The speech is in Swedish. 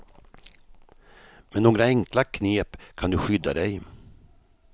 Med några enkla knep kan du skydda dig.